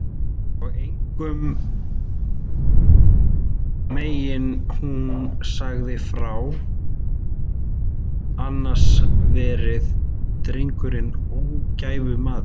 Og engum megi hún segja frá, annars verði drengurinn ógæfumaður.